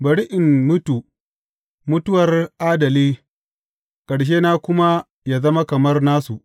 Bari in mutu, mutuwar adali ƙarshena kuma yă zama kamar nasu!